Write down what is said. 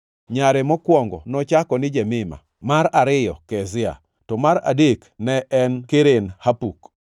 Nyare mokwongo nochako ni Jemima, mar ariyo Kezia, to mar adek ne en Keren-Hapuk.